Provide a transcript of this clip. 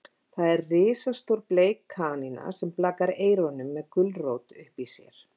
Það er risastór bleik kanína sem blakar eyrunum með gulrót uppí sér.